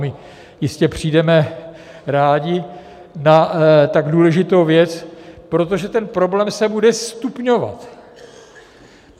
My jistě přijdeme rádi na tak důležitou věc, protože ten problém se bude stupňovat.